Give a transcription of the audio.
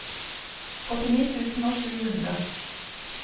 åttini tusen og sju hundre